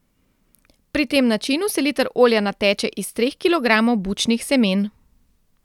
Pri tem načinu se liter olja nateče iz treh kilogramov bučnih semen.